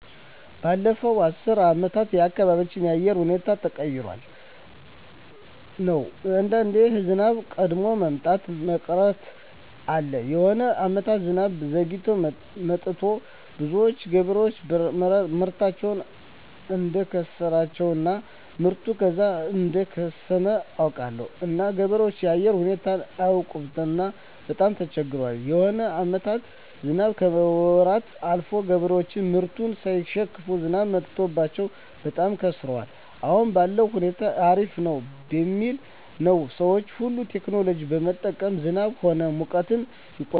ባለፋት አስር አመታት የአካባቢው የአየር ሁኔታዎች ተቀያሪ ነው አንዳንዴ ዝናብ ቀድሞ መምጣት እና መቅረት አለ የሆነ አመታት ዝናብ ዘግይቶ መጥቱ ብዙዎች ገበሬዎች ምርታቸውን እዳከሰራቸው እና ምርቱ ከዛው እደከሰመ አውቃለሁ እና ገበሬዎች የአየር ሁኔታው አያውቅምና በጣም ተቸግረዋል የሆነ አመታትም ዝናብ ከወራት አልፎ ገበሬዎች ምርቱን ሳይሸክፋ ዝናብ መትቶባቸው በጣም ከስረዋል አሁን ባለዉ ሁኔታ አሪፍ ነው ሚባል ነው ሰዎች ሁሉ ቴክኖሎጂ በመጠቀም ዝናብ ሆነ ሙቀትን ይቆጠራል